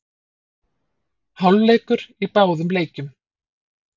Hálfleikur í báðum leikjum